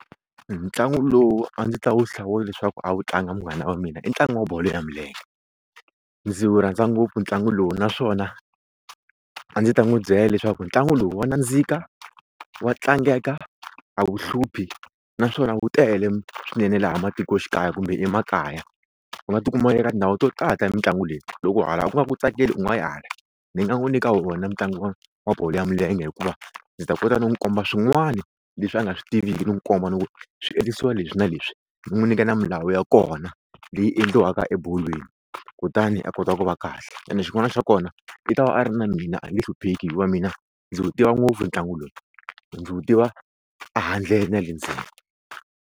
Ntlangu lowu a ndzi ta wu hlawu leswaku a wu tlanga munghana wa mina i ntlangu wa bolo ya milenge ndzi wu rhandzaka ngopfu ntlangu lowu naswona a ndzi ta n'wi byela leswaku ntlangu lowu wa nandzika wa tlangeka a wu hluphi naswona wu tele swinene laha matikoxikaya kumbe emakaya u nga ti kuma eka ndhawu to ta hatla mitlangu leyi loko hala u kuma ku tsakeli un'wanyana ndzi nga n'wi nyika wona ntlangu wa bolo ya milenge hikuva ndzi ta kota ni n'wi komba swin'wana leswi a nga swi tiviki ni n'wi komba loko swi endlisiwa leswi na leswi hi ku n'wi nyika na milawu ya kona leyi endliwaka ebolweni kutani a kota ku va kahle ene xin'wana xa kona i ta va a ri na mina a nge hlupheki hi wa mina ndzi wu tiva ngopfu ntlangu lowu ndzi wu tiva a handle na le ndzeni.